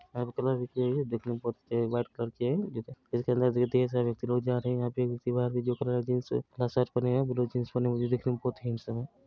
यहाँ पर कलर भी दिख रही है बहुत व्हाइट कलर की है जिसके अंदर धीरे-धीरे सब लोग जा रहे है यहाँ पर एक दिवार भी झुक रहा है जिन्स का शर्ट पहने हैं ब्लू जिन्स पहने है देखने में बहुत हैंडसम हैं।